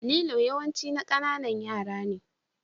Lilo yawanci na ƙananan yara ne.